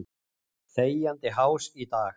Þegjandi hás í dag.